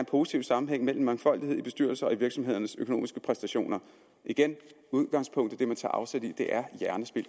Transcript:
positiv sammenhæng mellem mangfoldighed i bestyrelser og i virksomhedernes økonomiske præstationer igen udgangspunktet det man tager afsæt i er hjernespild